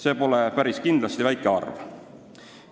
See pole päris kindlasti väike arv.